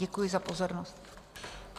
Děkuji za pozornost.